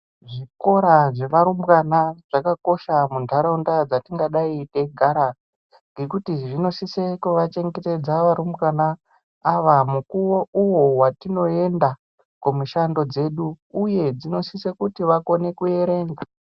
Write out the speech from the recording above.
Zvikora zvevarumbwana zvakakosha muntaraunda dzetingadai teigara ngekuti zvinosise kuvachengetedza varumbwana mukuwo uwo watinoenda kumishando dzedu, uye dzinosisa kuti vakone kuerenga.